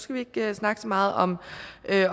vi ikke snakke så meget om